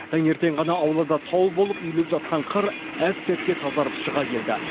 таңертең ғана аулада тау болып үйіліп жатқан қар әп сәтте тазарып шыға келді